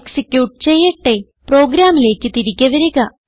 execute ചെയ്യട്ടെ പ്രോഗ്രാമിലേക്ക് തിരികെ വരിക